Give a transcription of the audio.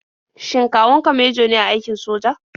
Shin kawun ka mejo ne a aikin soja?